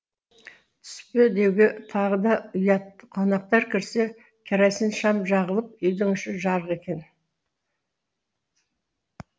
түспе деуге тағы да ұят қонақтар кірсе керосин шам жағылып үйдің іші жарық екен